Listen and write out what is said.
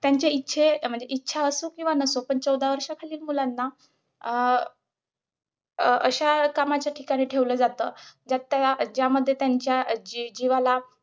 त्यांच्या इच्छे इच्छा असू किंवा नसो पण चौदा वर्षाखालील मुलांना अं अं अशा कामाच्या ठिकाणी ठेवलं जात, ज्यात त्या ज्यामध्ये त्यांच्या जी जीवाला